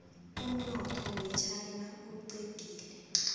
umnotho wechaina uxegile